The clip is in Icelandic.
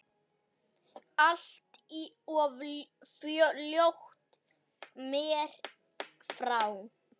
Allt of fljótt mér frá.